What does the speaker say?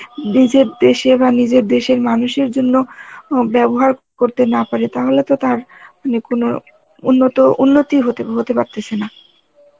নিজের দেশে বা নিজের দেশের মানুষের জন্য অ ব্যবহার করতে না পারে, তাহলে তো তার ইয়ে কোন উন্নত উন্নতি হতে, হতে পারতেছে না.